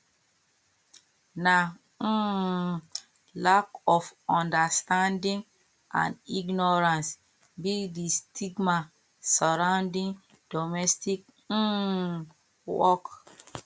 na um lack of understanding and ignorance be di stigma surrounding domestic um work